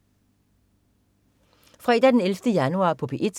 Fredag den 11. januar - P1: